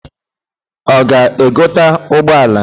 O ga-egote ugboala